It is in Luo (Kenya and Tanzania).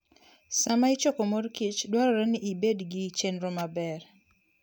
Sama ichoko morkich dwarore ni ibed gi chenro maber.